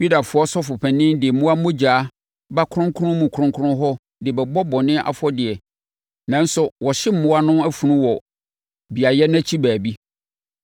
Yudafoɔ Sɔfopanin de mmoa mogya ba Kronkron mu Kronkron hɔ de bɛbɔ bɔne afɔdeɛ nanso wɔhye mmoa no funu wɔ beaeɛ no akyi baabi.